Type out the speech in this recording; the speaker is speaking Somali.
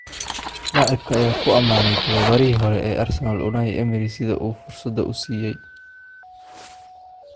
Laacibka ayaa ku amaanay tababarihii hore ee Arsenal Unai Emery sida uu fursada u siiyay.